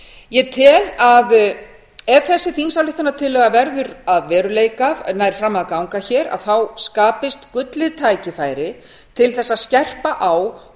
ég tel að ef þessi þingsályktunartillaga verður að veruleika nær fram að ganga hér skapist gullið tækifæri til þess að skerpa á